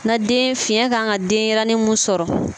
Na den fiɲɛ kan ka denɲɛrɛnin min sɔrɔ